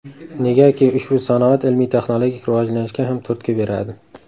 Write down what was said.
Negaki, ushbu sanoat ilmiy-texnologik rivojlanishga ham turtki beradi.